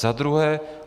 Za druhé.